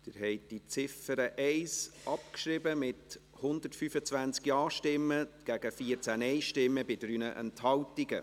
Sie haben die Ziffer 1 abgeschrieben, mit 125 Ja- zu 14 Nein-Stimmen bei 3 Enthaltungen.